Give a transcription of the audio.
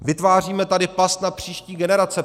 Vytváříme tady past na příští generace.